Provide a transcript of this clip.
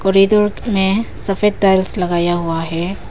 Corridor मे सफेद tiles लगाया हुआ है।